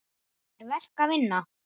Það er verk að vinna.